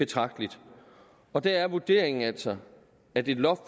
betragteligt og der er vurderingen altså at et loft